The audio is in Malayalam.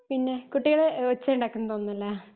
പിന്നെ കുട്ടികള് ഒച്ചയുണ്ടാക്കുന്നുന്ന് തോന്നുന്നല്ലോ